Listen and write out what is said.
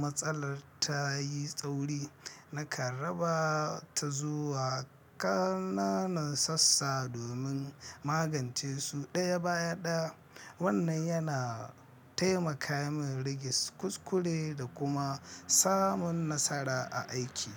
matsalar ta yi tsauri, nakan raba ta zuwa ƙananan sassa domin magance su ɗaya bayan ɗaya. Wannan yana taimaka min rage kuskure da kuma samun nasara a aiki.